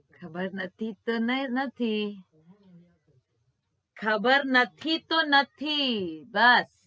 ખબર નથી તો નથી ખબર નથી તો નથી બસ